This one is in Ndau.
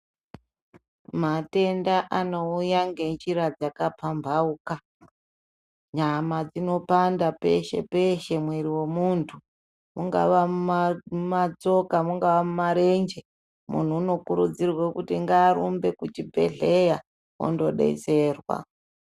Matenda anouya ngenjira dzakapambauka nyama dzinopanda peshe peshe mwiri wemuntu mungava matsoka mungava marenje munhu anokurudzirwa ngarumbe kuchibhedhlera andodetserwa.